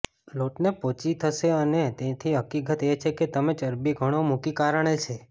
લોટને પોચી થશે અને તેથી હકીકત એ છે કે તમે ચરબી ઘણો મૂકી કારણે છે